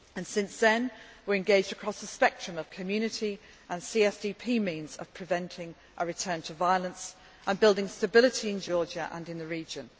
time. Since then, we are engaged across the spectrum of Community and CSDP means of preventing a return to violence and building stability in Georgia and in the